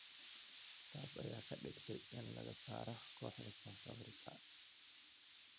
Taas ayaa ka dhigtay in laga saaro kooxda South Africa.